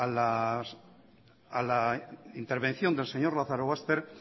a la intervención del señor lazarobaster